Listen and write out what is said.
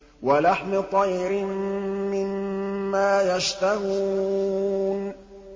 وَلَحْمِ طَيْرٍ مِّمَّا يَشْتَهُونَ